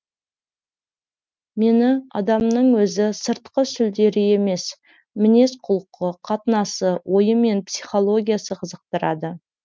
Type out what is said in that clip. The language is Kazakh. мені адамның өзі сыртқы сүлдері емес мінез құлқы қатынасы ойы мен психологиясы қызықтырады